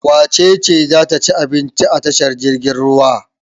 Wace ce za ta ci abinci a tashar jiragen ruwa?